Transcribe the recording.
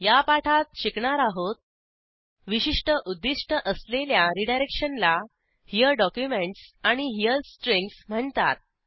या पाठात शिकणार आहोत विशिष्ट उद्दिष्ट असलेल्या रीडायरेक्शनला हेरे डॉक्युमेंटस आणि हेरे स्ट्रिंग्ज म्हणतात